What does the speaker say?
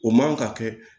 O man ka kɛ